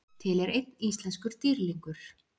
til er einn íslenskur dýrlingur